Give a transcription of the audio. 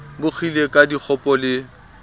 bo kgile ka dikgopo le